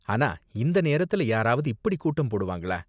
ஆனா இந்த நேரத்துல யாராவது இப்படி கூட்டம் போடுவாங்களா?